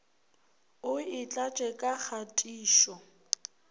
o e tlatše ka kgatišo